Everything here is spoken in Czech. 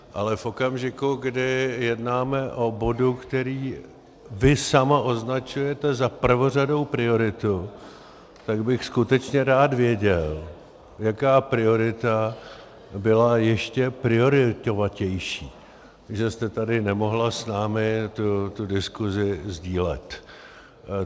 Ale v okamžiku, kdy jednáme o bodu, který vy sama označujete za prvořadou prioritu, tak bych skutečně rád věděl, jaká priorita byla ještě prioritovatější, že jste tady nemohla s námi tu diskusi sdílet.